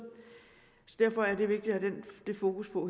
derfor er det vigtigt at have fokus på